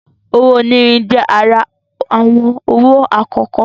Owó onírin je àrà awọn owo akọkọ